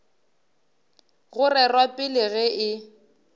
go rerwa pele ge e